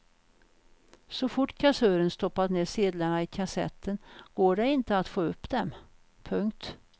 Så fort kassören stoppat ner sedlarna i kassetten går det inte att få upp dem. punkt